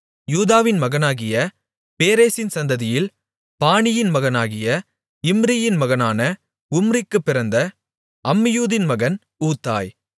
யூதாவின் மகனாகிய பேரேசின் சந்ததியில் பானியின் மகனாகிய இம்ரியின் மகனான உம்ரிக்குப் பிறந்த அம்மியூதின் மகன் ஊத்தாய்